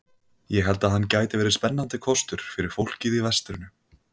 Ég held að hann gæti verið spennandi kostur fyrir fólkið í vestrinu.